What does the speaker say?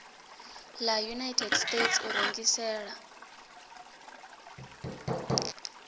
la united states u rengisela